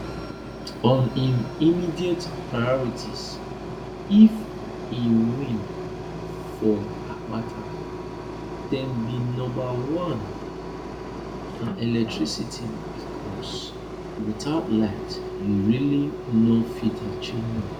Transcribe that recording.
on im immediate priorities if e win for akpata dem be number one na electricity becos without light you really no fit achieve much